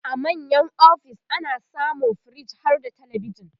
a manya ofis ana samun firij harda telebijan